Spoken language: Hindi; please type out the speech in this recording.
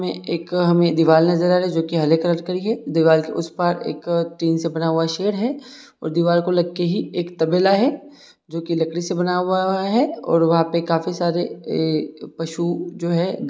हमें एक हमें दीवाल नजर आ रही है जोकि हरे कलर की है दीवाल के उस पार एक टीन से बना हुआ शेड है और दीवार को लग के ही एक तबेला है जो कि लकड़ी से बनाया हुआ है और वहाँ पे काफी सारे ए पशु जो है।